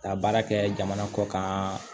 Ka baara kɛ jamana kɔkan